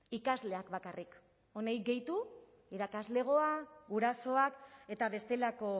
ikasleak bakarrik honi gehitu irakaslegoa gurasoak eta bestelako